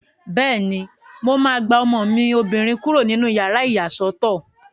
Bẹ́ẹ̀ni, mo máa gba ọmọ mi obìnrin kúrò nínú yàrá ìyàsọ́tọ̀